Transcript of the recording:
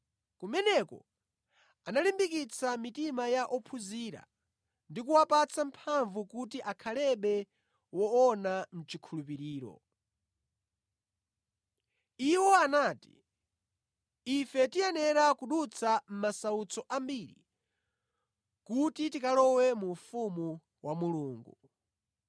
Kumeneko analimbikitsa mitima ya ophunzira ndi kuwapatsa mphamvu kuti akhalebe woona mʼchikhulupiriro. Iwo anati, “Ife tiyenera kudutsa mʼmasautso ambiri kuti tikalowe mu ufumu wa Mulungu.”